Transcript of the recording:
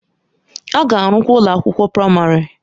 A ga-arụkwa ụlọ akwụkwọ praịmarị.